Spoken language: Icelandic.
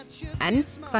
en hvað